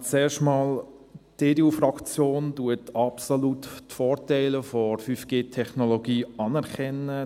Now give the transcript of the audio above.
Zuerst einmal: Die EDU-Fraktion anerkennt die Vorteile der 5G-Technologie absolut.